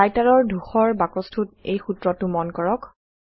Writer ৰ ধূসৰ বাকছটোত এই সূত্ৰটো মন কৰক